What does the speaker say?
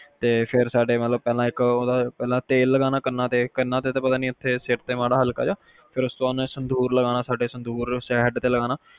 ਤੇ ਫੇਰ ਸਾਡੇ ਮਤਲਬ ਤੇਲ ਲਗਾਨਾ ਕੰਨਾਂ ਤੇ ਕੰਨਾਂ ਤੇ ਤਾ ਪਤਾ ਨੀ ਸਿਰ ਤੇ ਮਾੜਾ ਹਲਕਾ ਹਕਲਾ ਫਿਰ ਉਸ ਤੋਂ ਬਾਅਦ ਸਿੰਦੂਰ ਲਗਾਨਾ ਮਤਲਬ ਸਿੰਦੂਰ head ਤੇ ਲਗਾਨਾ